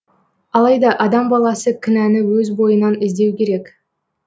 алайда адам баласы кінәні өз бойынан іздеу керек